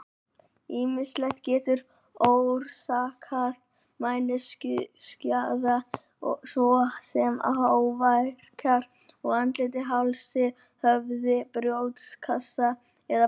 Ýmislegt getur orsakað mænuskaða, svo sem áverkar á andliti, hálsi, höfði, brjóstkassa eða baki.